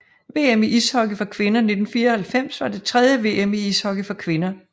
VM i ishockey for kvinder 1994 var det tredje VM i ishockey for kvinder